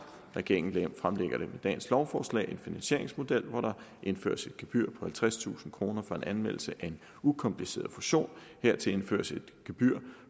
regeringen fremlægger med dagens lovforslag en finansieringsmodel hvor der indføres et gebyr på halvtredstusind kroner for en anmeldelse af en ukompliceret fusion hertil indføres et gebyr